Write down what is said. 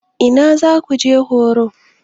Ina za su je horo?